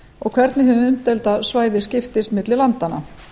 og hvernig hið umdeilda svæði skiptist milli landanna